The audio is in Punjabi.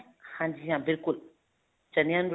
ਹਾਂਜੀ ਹਾਂ ਬਿਲਕੁਲ ਚਣਿਆ ਨੂੰ